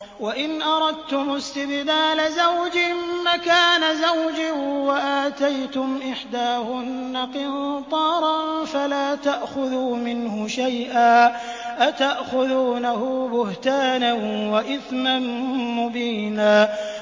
وَإِنْ أَرَدتُّمُ اسْتِبْدَالَ زَوْجٍ مَّكَانَ زَوْجٍ وَآتَيْتُمْ إِحْدَاهُنَّ قِنطَارًا فَلَا تَأْخُذُوا مِنْهُ شَيْئًا ۚ أَتَأْخُذُونَهُ بُهْتَانًا وَإِثْمًا مُّبِينًا